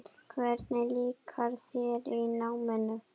Hvernig líkaði þér í náminu?